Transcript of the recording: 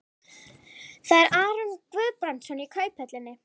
Það er Aron Guðbrandsson í Kauphöllinni.